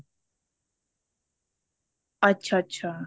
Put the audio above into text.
ਅੱਛਾ ਅੱਛਾ